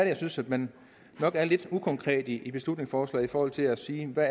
jeg synes at man er lidt ukonkret i beslutningsforslaget forhold til at sige hvad